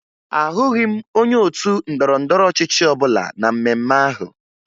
Ahụghị m onye otu ndọrọndọrọ ọchịchị ọbụla na mmemme ahụ